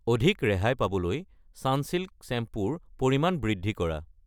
অধিক ৰেহাই পাবলৈ চানচিল্ক শ্বেম্পু ৰ পৰিমাণ বৃদ্ধি কৰা।